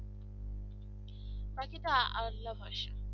বাকিটা আওয়াজ লাম আছে